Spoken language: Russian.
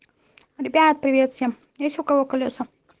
ребят привет всем есть у кого колеса